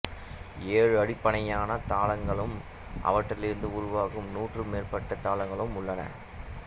ஏழு அடிப்படையான தாளங்களும் அவற்றிலிருந்து உருவாகும் நூற்றுக்கு மேற்பட்ட தாளங்களும் உள்ளன